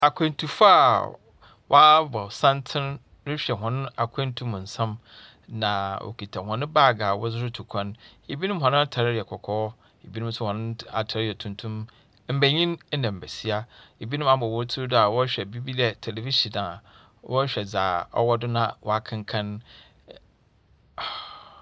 Akwentufo a wɔabɔ santsen rehwɛ hɔn akwentu mu nsɛm, na wokita hɔn baage a wɔdze rotu kwan. Binom hɔn atar yɛ kɔkɔɔ. Binom no nt atar tɛ tuntum. Mbenyin na mbesia. Binom ama hɔn tsir do a wɔrehwɛ biribi dɛ tevevision a wɔrehwɛ dza ɔwɔ do na wɔakenka. E .